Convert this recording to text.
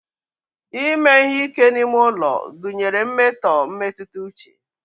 ime ihe ike n'ime ulo gunyere mmeto mmetuta uche